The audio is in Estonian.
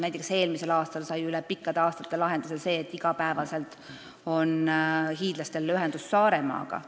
Näiteks eelmisel aastal sai üle pikkade aastate lahenduse see, et hiidlastel on igapäevane ühendus Saaremaaga.